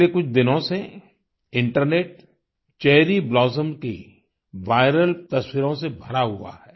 पिछले कुछ दिनों से इंटरनेट चेरी ब्लॉसम्स की विरल तस्वीरों से भरा हुआ है